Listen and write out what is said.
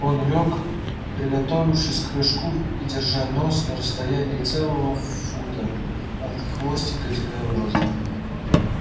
он лёг приготовившись к прыжку и держа нос на расстоянии целого фута от хвостика дикобраза